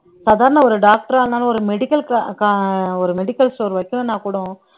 சாதாரண ஒரு doctor ஆ இருந்தாலும் ஒரு medical க ஒரு medical store வைக்கணும்ன்னா கூட